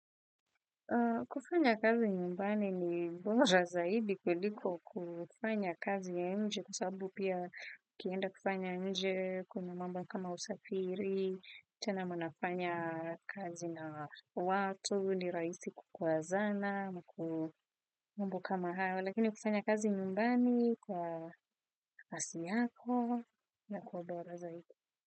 Kufanya kazi nyumbani ni bora zaidi kuliko kufanya kazi ya nje kwa sababu pia ukienda kufanya nje kuna mambo kama usafiri, tena mnafanya kazi na watu, ni rahisi kukwazana, ku mambo kama hayo, lakini ukifanya kazi nyumbani kwa nafasi yako inakuwa bora zaidi.